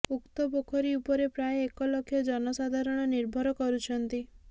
ଉକ୍ତ ପୋଖରୀ ଉପରେ ପ୍ରାୟ ଏକ ଲକ୍ଷ ଜନସାଧାରଣ ନିର୍ଭର କରୁଛନ୍ତି